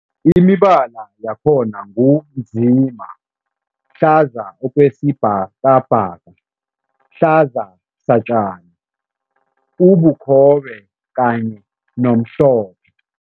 Imibala yakhona ngu nzima, hlaza okwesibhakabhaka, hlaza satjani, ubukhobe kanye nomhlophe.